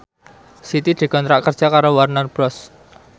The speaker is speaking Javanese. Siti dikontrak kerja karo Warner Bros